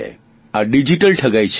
આ ડીજીટલ ઠગાઇ છે